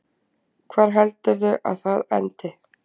Hvar heldurðu að það endi?